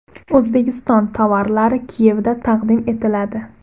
O‘zbekiston tovarlari Kiyevda taqdim etiladi.